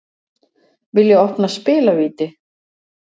Vilja opna spilavíti